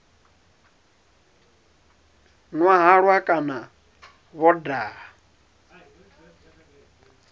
nwa halwa kana vho daha